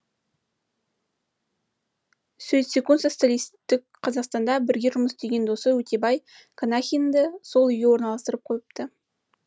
сөйтсе социалистік қазақстанда бірге жұмыс істеген досы өтебай қанахинді сол үйге орналастырып қойыпты